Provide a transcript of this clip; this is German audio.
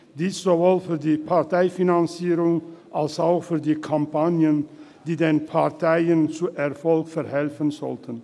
Dies sowohl für die Parteienfinanzierung als auch für die Finanzierung der Kampagnen, die den Parteien zu Erfolg verhelfen sollen.